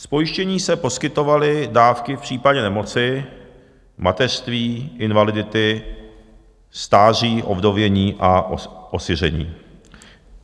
Z pojištění se poskytovaly dávky v případě nemoci, mateřství, invalidity, stáří, ovdovění a osiření."